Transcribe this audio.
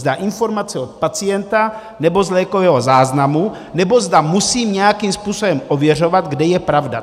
Zda informace od pacienta, nebo z lékového záznamu, nebo zda musím nějakým způsobem ověřovat, kde je pravda.